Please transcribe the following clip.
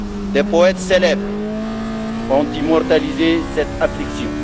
Des poètes célèbres ont immortalisé cette affliction.